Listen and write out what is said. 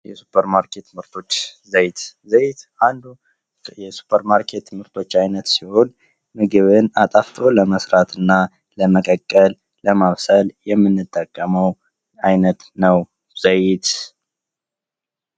የሱፐርማርኬት ምርቶች ዘይት ዘይት አንዱ የሱፐር ማርኬት ምርቶች ዓይነት ሲሆን፤ ምግብን አጣፍቶ ለመሥራትና ለመቀቀል ለማብሰል የምንጠቀመው አይነት ነው ዘይት።